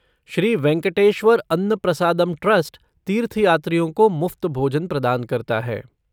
Shri Venkateswara Anna Prasadam trust तीर्थयात्रियों को मुफ़्त भोजन प्रदान करता है।